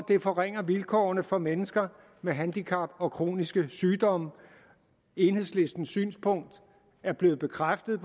det forringer vilkårene for mennesker med handicap og kroniske sygdomme enhedslistens synspunkt er blevet bekræftet